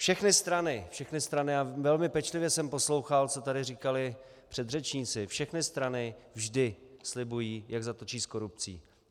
Všechny strany, všechny strany, a velmi pečlivě jsem poslouchal, co tady říkali předřečníci, všechny strany vždy slibují, jak zatočí s korupcí.